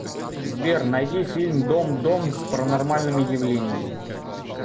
сбер найди фильм дом дом с паранормальными явлениями